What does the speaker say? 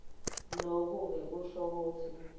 lokuke kusho kutsi